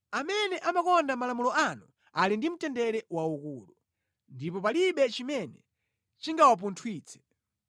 Amene amakonda malamulo anu ali ndi mtendere waukulu, ndipo palibe chimene chingawapunthwitse